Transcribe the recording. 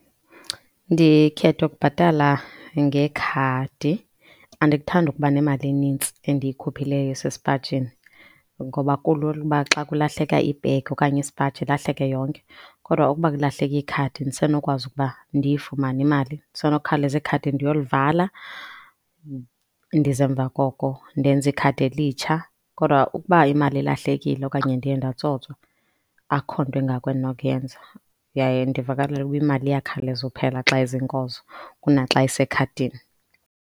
Ndikhetha ukubhatala ngekhadi. Andikuthandi ukuba nemali inintsi endiyikhuphileyo esesipajini ngoba kulula uba xa kulahleka ibhegi okanye isipaji ilahleke yonke, kodwa ukuba kulahleka ikhadi ndisenokwazi ukuba ndiyifumane imali, ndisenokawuleza ikhadi ndiyolivala ndize emva koko ndenze ikhadi elitsha. Kodwa ukuba imali ilahlekile okanye ndiye ndatsotswa akukho nto ingako endinokuyenza yaye ndivakalelwa ukuba imali iyakhawuleza ukuphela xa ezinkozo kuna xa isekhadini.